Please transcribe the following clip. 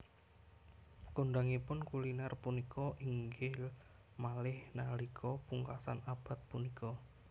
Kondhangipun kulinèr punika inggil malih nalika pungkasan abad punika